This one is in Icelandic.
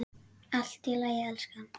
Allt í lagi, elskan.